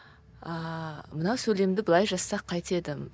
ааа мына сөйлемді былай жазсақ қайтеді